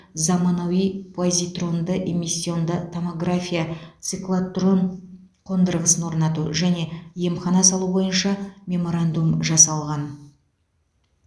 заманауи позитронды эмиссионды томография циклотрон қондырғысын орнату және емхана салу бойынша меморандум жасалған